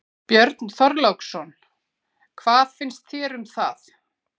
Björn Þorláksson: Hvað finnst þér um það?